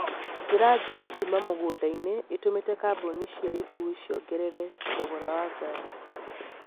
njĩra njũru kuuma mĩgũnda-inĩ itũmĩte kambuni cia ũkuui ciongerere thogora wa ngari